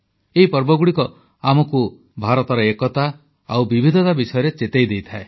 ଏହି ପର୍ବଗୁଡ଼ିକ ଆମକୁ ଭାରତର ଏକତା ଓ ବିବିଧତା ବିଷୟରେ ଚେତାଇ ଦେଇଥାଏ